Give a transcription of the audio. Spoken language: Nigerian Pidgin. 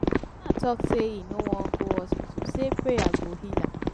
i no know why people dey dump their mad relatives for my hospital dey go.